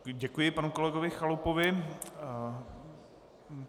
Děkuji panu kolegovi Chalupovi.